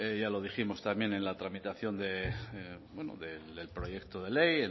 ya lo dijimos también en la tramitación de bueno del proyecto de ley